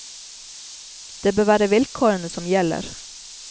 Det bør være vilkårene som gjelder.